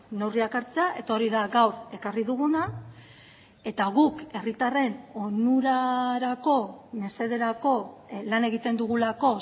neurriak hartzea eta hori da gaur ekarri duguna eta guk herritarren onurarako mesederako lan egiten dugulako